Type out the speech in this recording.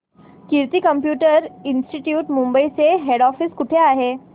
कीर्ती computer institute Mumbai चे head office कुठे आहे